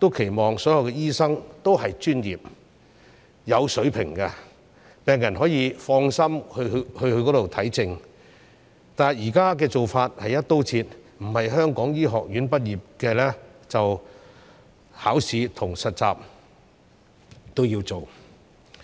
也期望所有醫生是專業和有水平的，讓病人可以放心求診，但現在"一刀切"的做法，只要並非香港醫學院畢業的醫生便需要考試和實習。